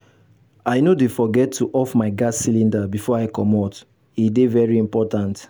i no dey forget to off my gas cylinder before i comot e dey very important.